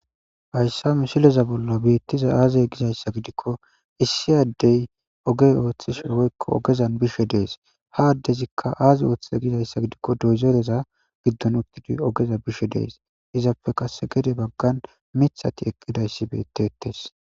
hayssa misileza bolla beettiza aazey gizayssa gidikko issi addey ogey ooththis woykko ogezan bishe dees ha addezikka aaze ooththiza gizayssa gidikko dozereza biddon uttidi ogeza bishe dees izappe kase gede baggan mithati eqqidayssi bettetes